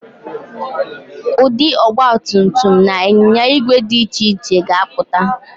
Ụdị ọgbatumtum na ịnyinya ígwè dị iche iche ka ga-apụta